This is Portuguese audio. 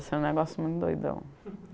Era um negócio muito doidão.